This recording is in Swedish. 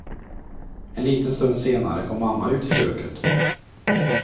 En liten stund senare kom mamma ut i köket.